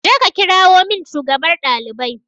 Je ka kirawo min shugabar ɗalibai